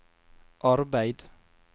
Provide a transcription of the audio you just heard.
arbeid